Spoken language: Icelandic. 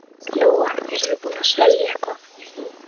Lóa: Eruð þið búnir að selja eitthvað?